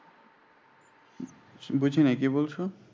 বুঝিনাই কি বলছো?